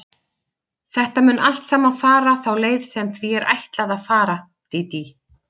Þetta mun allt saman fara þá leið sem því er ætlað að fara, Dídí.